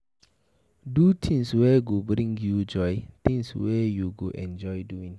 Do things wey go dey bring you joy, things wey you enjoy doing